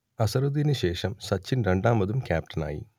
അസ്ഹറുദ്ദീനു ശേഷം സച്ചിൻ രണ്ടാമതും ക്യാപ്റ്റനായി